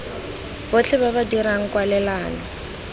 botlhe ba ba dirang kwalelano